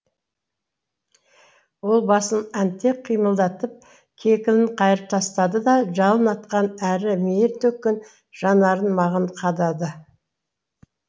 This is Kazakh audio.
ол басын әнтек қимылдатып кекілін қайырып тастады да жалын атқан әрі мейір төккен жанарын маған қадады